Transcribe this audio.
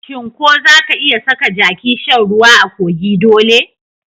Shin ko zaka iya saka jaki shan ruwa a kogi dole?